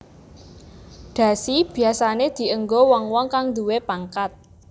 Dhasi biyasané dienggo wong wong kang nduwé pangkat